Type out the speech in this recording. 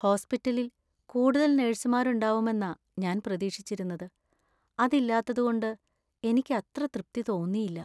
ഹോസ്പിറ്റലില്‍ കൂടുതൽ നഴ്സുമാർ ഉണ്ടാവുമെന്നാ ഞാൻ പ്രതീക്ഷിച്ചിരുന്നത് , അത് ഇല്ലാത്തത് കൊണ്ട് എനിക്ക് അത്ര തൃപ്തി തോന്നിയില്ല.